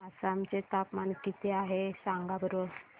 आसाम चे तापमान किती आहे सांगा बरं